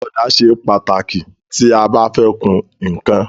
Ọ̀dà ṣe pàtàkì tí a bá fẹ́ kun ǹkan.